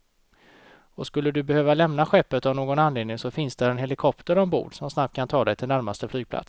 Och skulle du behöva lämna skeppet av någon anledning så finns där en helikopter ombord, som snabbt kan ta dig till närmsta flygplats.